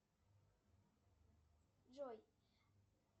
джой